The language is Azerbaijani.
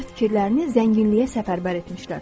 Onlar fikirlərini zənginliyə səfərbər etmişlər.